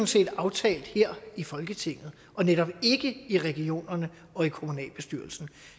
set aftalt her i folketinget og netop ikke i regionerne og i kommunalbestyrelserne